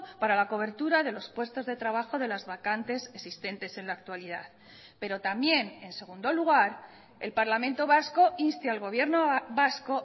para la cobertura de los puestos de trabajo de las vacantes existentes en la actualidad pero también en segundo lugar el parlamento vasco inste al gobierno vasco